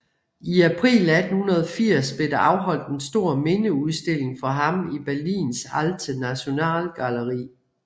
I april 1880 blev der afholdt en stor mindeudstilling for ham i Berlins Alte Nationalgalerie